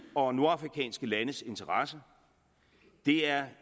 og nordafrikanske landes interesse det er